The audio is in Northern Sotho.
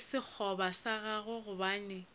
le sekgoba sa gagwe gobane